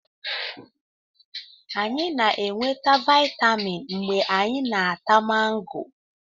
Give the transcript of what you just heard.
Anyị na-enweta vitamin mgbe anyị na-ata mango